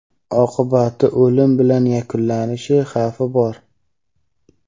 oqibati o‘lim bilan yakunlanish xavfi bor.